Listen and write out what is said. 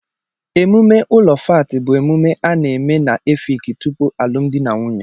Emume ụlọ fáátị bu emume a na-eme na Efịịki tupu alụmdi na nwunye